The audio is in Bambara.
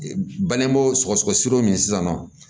Bangebaaw sɔgɔsɔgɔ sira min sisan nɔ